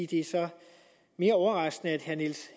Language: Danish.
det så er mere overraskende at herre niels